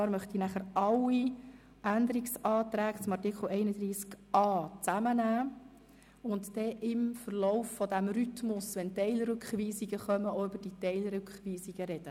Ich möchte dann alle Abänderungsanträge zu Artikel 31a zusammennehmen und im Verlauf der Beratung auch über die Teilrückweisungsanträge sprechen.